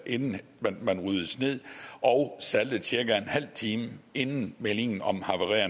inden man ryddede sne og saltet cirka en halv time inden meldingen om